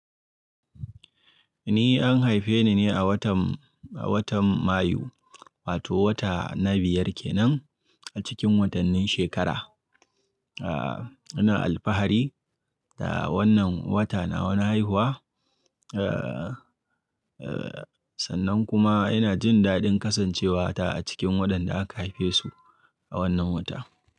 Ni an haife ni ne a watan, a watan Mayu wato wata na biyar kenan a cikin watannin shekara. Ina alfahari da wannan wata nawa na haihuwa. Sannan kuma ina jin daɗin kasancewa ta a cikin waɗanda aka haife su a wannan wata.